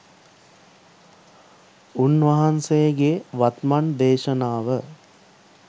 උන්වහන්සේගේ වත්මන් දේශනාව